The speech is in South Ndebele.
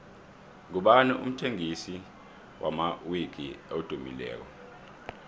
ngubani umthengisi wamawiki edumileko